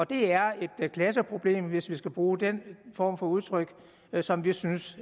det er et klasseproblem hvis vi skal bruge den form for udtryk som vi synes